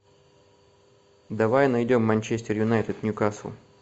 давай найдем манчестер юнайтед ньюкасл